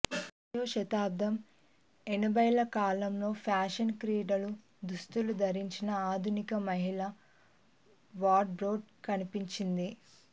ఇరవయ్యో శతాబ్దం ఎనభైల కాలంలో ఫ్యాషన్ క్రీడల దుస్తులు ధరించిన ఆధునిక మహిళల వార్డ్రోబ్లో కనిపించింది